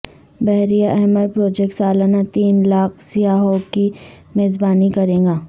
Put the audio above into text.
بحیرہ احمر پروجیکٹ سالانہ تین لاکھ سیاحوں کی میزبانی کرے گا